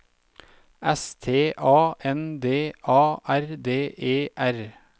S T A N D A R D E R